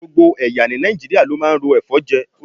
Gbogbo ẹ̀yà ní Nàìjíríà ló máa ń ro ẹ̀fọ́ jẹ.